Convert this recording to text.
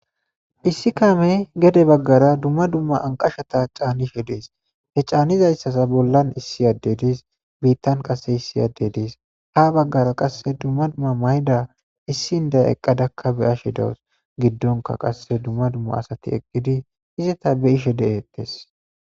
Issi kame gede baggara dumma dumma anqashata caanishe dees he caanizayssasa bollan issi adde diis biittan qase issi yadde diis ha baggara qasse dumma dumma mayda issindaya eqqadakka beyashe dawus giddonka qasse dumma dumma asati eqqidi hizeta be ishe de'ettes